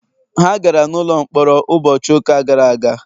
ha gara n’ụlọ mkpọrọ ụbọchị ụka gara aga